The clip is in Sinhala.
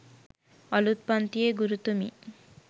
අලුත් පන්තියේ ගුරුතුමී